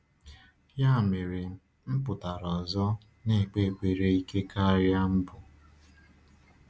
Ya mere, m pụtara ọzọ, na-ekpe ekpere ike karịa mbụ.